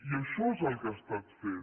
i això és el que ha estat fent